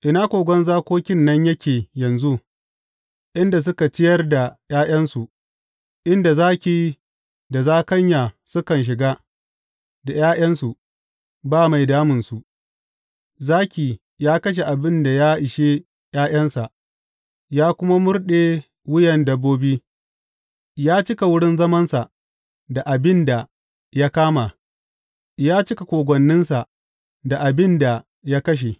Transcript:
Ina kogon zakokin nan yake yanzu, inda suka ciyar da ’ya’yansu, inda zaki da zakanya sukan shiga, da ’ya’yansu, ba mai damunsu Zaki ya kashe abin da ya ishe ’ya’yansa ya kuma murɗe wuyan dabbobi ya cika wurin zamansa da abin da ya kama ya cika kogwanninsa da abin da ya kashe.